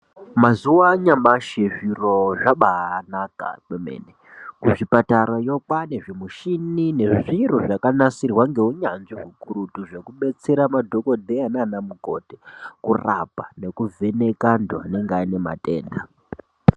Mazuwa anyamashi zviro zvabaanaka kwemene kuzvipatarayo kwaane zvimishini nezviro zvakanasirwa ngeunyanzvi ukurutu Zvekubetsera madhokodheya nana mukoti kurapa nekuvheneka antu anenge ane matenda.